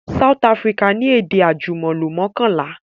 South Africa ni èdè àjùmọ̀lò mọ́kànlá